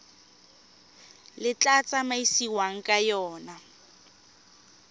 le tla tsamaisiwang ka yona